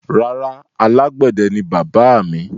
Rárá, alágbẹ̀dẹ ni bàbáà mi.